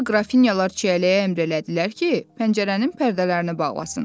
Sonra qrafinyalar çiyələyə əmr elədilər ki, pəncərənin pərdələrini bağlasın.